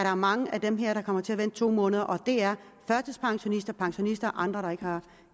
er mange af dem her der kommer til at vente to måneder og det er førtidspensionister pensionister og andre der ikke har